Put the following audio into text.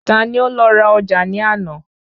Ta ni ó lọ ra ọjà ní àná